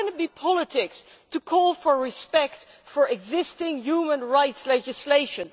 How can it be politics to call for respect for existing human rights legislation?